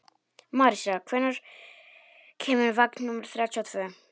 Marísa, hvenær kemur vagn númer þrjátíu og tvö?